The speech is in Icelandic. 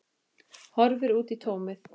Horfir út í tómið.